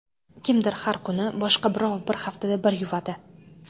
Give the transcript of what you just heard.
Kimdir har kuni, boshqa birov bir haftada bir yuvadi.